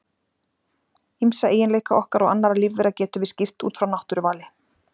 Ýmsa eiginleika okkar og annarra lífvera getum við skýrt út frá náttúruvali.